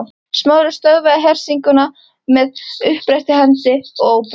Smári stöðvaði hersinguna með uppréttri hendi og ópum.